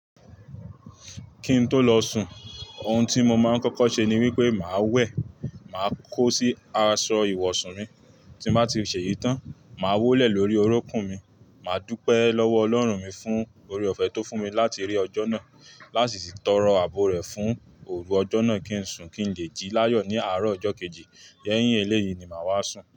Kí n tó lọ sùn ohun tí mo máa ń kọ́kọ́ ṣe ni wípé màá wẹ̀, màá kó sí aṣọ ìwọ̀sùn mi, tí n bá ti ṣèyí tán, màá wólẹ̀ lórí orókùn mi, màá dúpẹ́ lọ́wọ́ Ọlọ́run mi fún oore-ọ̀fẹ́ tó fún mi láti rí ọjọ́ náà, láàsì tọrọ àbọ̀ rẹ̀ fún òru ọjọ́ náà kí n sùn kí n lè jí láyọ̀ ní àárọ̀ ọjọ́ kejì. Lẹ́yìn eléyìí ni màá wá sùn.